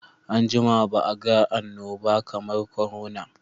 An jima ba a ga annobaba kamar korona.